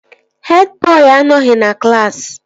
Hed bọị anọghị na klaasị